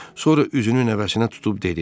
Sonra üzünü nəvəsinə tutub dedi: